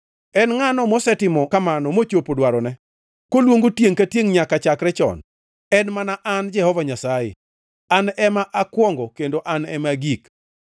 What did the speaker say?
En ngʼa mosetimo kamano mochopo dwarone, koluongo tiengʼ ka tiengʼ nyaka chakre chon? En mana an Jehova Nyasaye, an ema akwongo kendo An ema agik.”